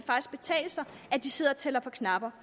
betale sig at de sidder og tæller på knapper